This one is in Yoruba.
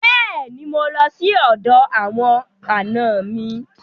Bẹ́ẹ̀ni, mo lọ sọ́dọ̀ àwọn àna mi.